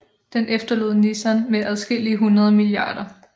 Den efterlod Nissan med adskillige hundrede mia